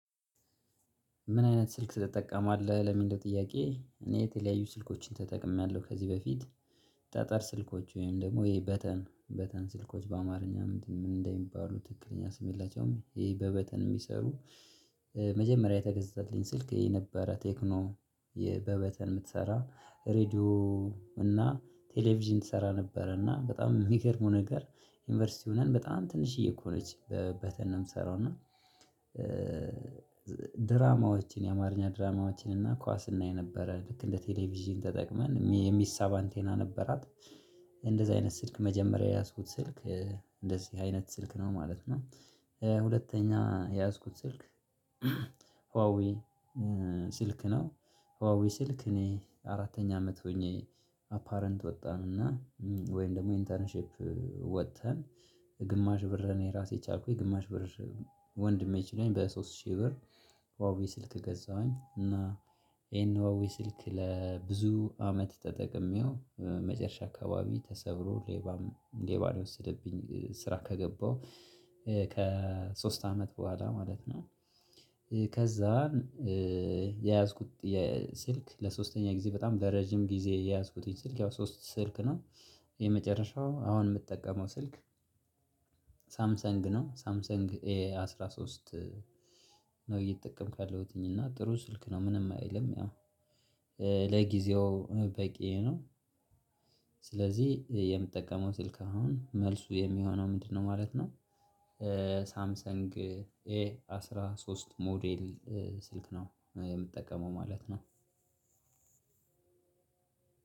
ምን አይነት ስልክ ትጠቀማለህ ለሚለው ጥያቄ? እኔ የተለያዩ ስልኮችን ተጠቅሜያለሁ ከዚህ በፊት። ጠጠር ስልኮች ወይም ደግሞ ይሄ በተን በተን ስልኮች በአማርኛ ምንድነው ምን እንደሚባሉ ትክክለኛ ስም የለቸውም ይሄ በበተን የሚሰሩ። መጀመሪያ የተገዛትልኝ ስልክ የነበረ ቴክኖ በበተን የምትሰራ ሬድዮ እና ቴሌቪዥን ትሰራ ነበረ እና በጣም ሚገርመው ነገር። ዩኒቨርሲቲ ሆነን በጣም ትንሽዬ እኮ ነች በተን ነው ምሰራው እና። ድራማዎችን የአማርኛ ድራማዎችን እና ኳስ እናይ ነበረ ልክ እንደ ቴሌቪዥን ተጠቅመን የሚሳብ አንቴና ነበራት። እንደዚህ አይነት ስልክ መጀመሪያ የያዝኩት ስልክ እንደዚህ አይነት ስልክ ነው ማለት ነው። ሁለተኛ የያዝኩት ስልክ። ሁዋዊ ስልክ ነው። ሁዋዊ ስልክ እኔ አራተኛ አመት ሆኜ አፓረንት ወጣን እና ወይም ደግሞ ኢንተርንሺፕ ወጥተን ግማሽ ብር እኔ ራሴ ቻልኩኝ ግማሽ ብር ወንድሜ ችሎኝ በሶስት ሺህ ብር። ሁዋዊ ስልክ ገዛሁኝ እና ይሄን ሁዋዊ ስልክ ለብዙ አመት ተጠቅሜው መጨረሻ አካባቢ ተሰብሮ ሌባም ሌባ የወሰደብኝ ስራ ከገባው ከሶስት አመት በኋላ ማለት ነው። ከዛ የያዝኩት ስልክ ለሶስተኛ ጊዜ በጣም ለረጅም ጊዜ የያዝኩተኝ ስልክ ያው ሶስት ስልክ ነው። የመጨረሻው አሁን ምጠቀመው ስልክ። ሳምሰንግ ነው ሳምሰንግ ኤ አስራ ሶስት ነው እየተጠቀምኩ ያለሁትኝ እና ጥሩ ስልክ ነው። ምንም አይልም ያው ለጊዜው በቂየ ነው። ስለዚህ የምጠቀመው ስልክ አሁን መልሱ የሚሆነው ምንድን ነው ማለት ነው? ሳምሰንግ ኤ አስራ ሶስት ሞዴል ስልክ ነው የምጠቀመው ማለት ነው።